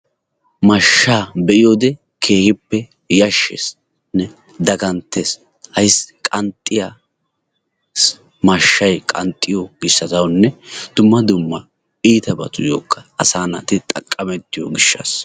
Mashshaa be7iyoode keehippe yashsheesinne daganttes ayssi qanxxiya mashshayi qanxxiyo gishshawunne dumma dumma iitabatuyokka assa naati go'ettiyoba.